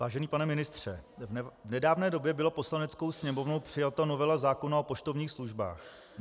Vážený pane ministře, v nedávné době byla Poslaneckou sněmovnou přijata novela zákona o poštovních službách.